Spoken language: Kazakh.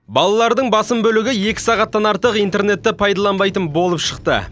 балалардың басым бөлігі екі сағаттан артық интернетті пайдаланбайтын болып шықты